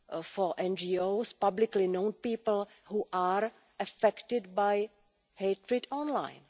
for NGOs, publicly known people, who are affected by hatred online.